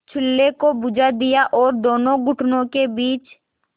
चूल्हे को बुझा दिया और दोनों घुटनों के बीच